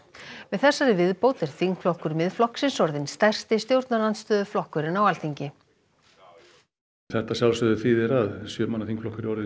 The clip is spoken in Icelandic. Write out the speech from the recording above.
með þessari viðbót er þingflokkur Miðflokksins orðinn stærsti stjórnarandstöðuflokkurinn á Alþingi þetta að sjálfsögðu þýðir að sjö manna þingflokkur er